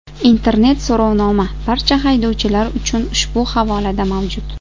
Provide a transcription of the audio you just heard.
Internet-so‘rovnoma barcha haydovchilar uchun ushbu havolada mavjud.